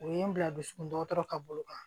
O ye n bila dusukun dɔgɔtɔrɔ ka bolo kan